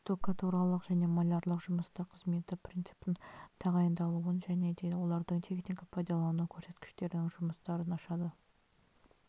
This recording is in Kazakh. штукатуралық және малярлық жұмыстар қызметі принципін тағайындалуын және де олардың техника-пайдалану көрсеткіштерінің жұмыстарын ашады